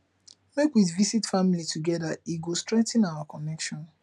make we visit family together e go strengthen our connection